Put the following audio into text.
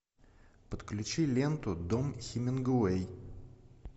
подключи ленту дом хемингуэй